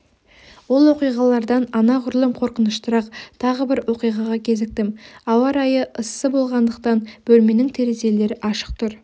ол оқиғалардан анағұрлым қорқыныштырақ тағы бір оқиғаға кезіктім ауа райы ыссы болғандықтан бөлменің терезелері ашық тұр